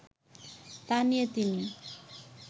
তা নিয়ে তিনি